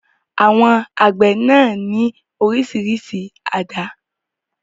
Àwọn àgbẹ̀ náà ní oríṣiríṣi àdá.